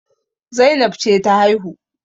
Zainab ce ta haihu